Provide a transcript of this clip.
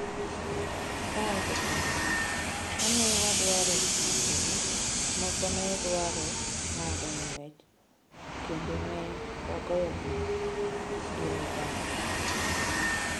Owacho kama: “Ka ne wadwaro makogi, moko ne dwaro ng’ado ng’wech kendo ne wagoyogi gi ligangla.”